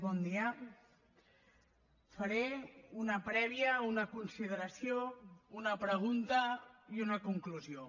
bon dia faré una prèvia una consideració una pregunta i una conclusió